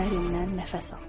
Dərindən nəfəs al.